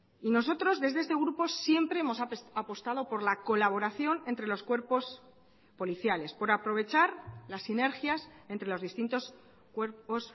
y nosotros desde este grupo siempre hemos apostado por la colaboración entre los cuerpos policiales por aprovechar las sinergias entre los distintos cuerpos